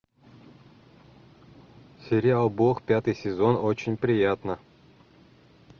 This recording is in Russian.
сериал бог пятый сезон очень приятно